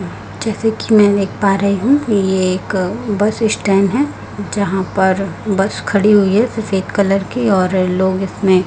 जैसे कि मैं देख पा रही हूं ये एक बस स्टैंड है यहां पर बस खड़ी हुई है सफेद कलर की और लोग इसमें--